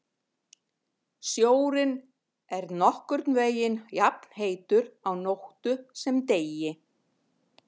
Sjórinn er nokkurn veginn jafnheitur á nóttu sem degi.